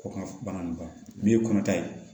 Ko ka bana nin ban n ye kɔnɔta ye